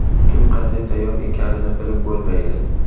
Kim qanday tayyor ekanini bilib bo‘lmaydi.